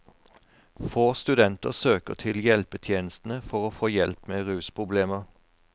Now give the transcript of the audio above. Få studenter søker til hjelpetjenestene for å få hjelp med rusproblemer.